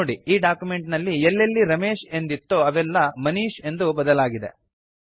ನೋಡಿ ಈ ಡಾಕ್ಯುಮೆಂಟ್ ನಲ್ಲಿ ಎಲ್ಲೆಲ್ಲಿ ರಮೇಶ್ ಎಂದಿತ್ತೋ ಅವೆಲ್ಲಾ ಮನೀಶ್ ಎಂದು ಬದಲಾಗಿದೆ